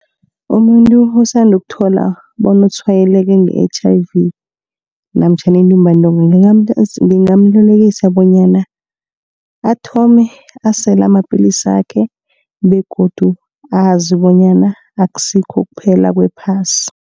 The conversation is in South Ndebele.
Umuntu osanda ukuthola bona utshwayeleke nge-H_I_V namtjhana intumbantonga. Ngingamyelelisa bonyana athome asele amapilisi sakhe begodu azi bonyana akusikho kuphela kwephasi.